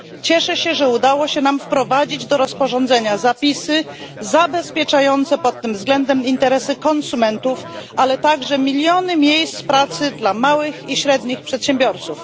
Cieszę się, że udało się nam wprowadzić do rozporządzenia zapisy zabezpieczające pod tym względem interesy konsumentów, ale także miliony miejsc pracy dla małych i średnich przedsiębiorców.